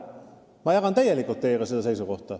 Ma jagan täielikult teie seisukohta.